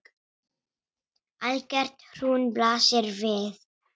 Algert hrun blasir við.